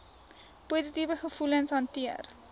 positiewe gevoelens hanteer